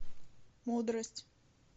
мудрость